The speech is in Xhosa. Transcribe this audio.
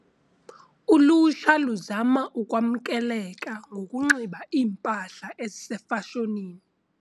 Ulutsha luzama ukwamkeleka ngokunxiba iimpahla ezisefashonini.